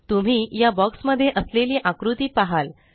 तुम्ही या बॉक्स मध्ये असलेली आकृती पहाल